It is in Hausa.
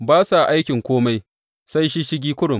Ba sa aikin kome; sai shisshigi kurum.